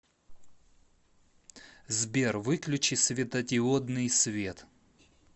сбер выключи светодиодный свет